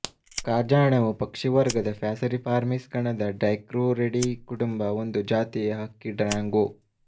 ಕಾಜಾಣವು ಪಕ್ಷಿವರ್ಗದ ಪ್ಯಾಸೆರಿಫಾರ್ಮೀಸ್ ಗಣದ ಡೈಕ್ರೂರಿಡೀ ಕುಟುಂಬ ಒಂದು ಜಾತಿಯ ಹಕ್ಕಿ ಡ್ರಾಂಗೊ